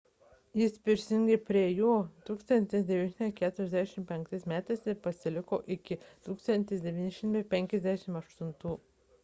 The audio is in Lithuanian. jis prisijungė prie jų 1945 m ir pasiliko iki 1958 m